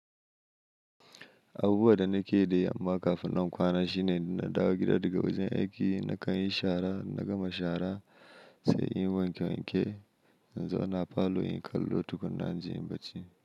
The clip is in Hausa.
Abubuwa da nake yi amma kafin nan kwana shine in na dawo gida daga wajen aiki nakan yi shara, na gama shara sai in wanke wanke in zauna falo in kallo tukuna na jin bacci.